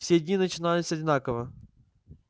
все дни начинались одинаково